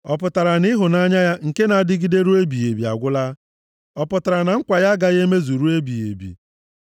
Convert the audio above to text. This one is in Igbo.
Ọ pụtara na ịhụnanya ya nke na-adịgide ruo ebighị ebi agwụla? Ọ pụtara na nkwa ya agaghị emezu ruo ebighị ebi?